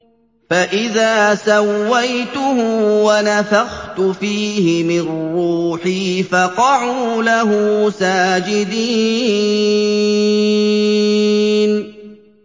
فَإِذَا سَوَّيْتُهُ وَنَفَخْتُ فِيهِ مِن رُّوحِي فَقَعُوا لَهُ سَاجِدِينَ